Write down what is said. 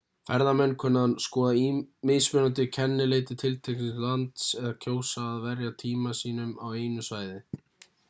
ferðamenn kunna að skoða mismunandi kennileiti tiltekins lands eða kjósa að verja tíma sínum á einu svæði